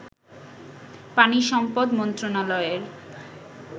পানি সম্পদ মন্ত্রনালয়ের